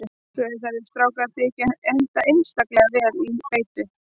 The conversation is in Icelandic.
Rauðhærðir strákar þykja henta einstaklega vel til beitu.